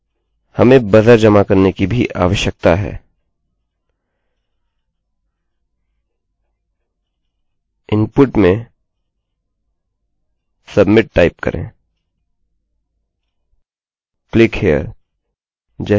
हमें buzzer जमा करने की भी आवश्यकता है इनपुट में submitटाइप करेंclick here जैसे कुछ आसान वेल्यू रखें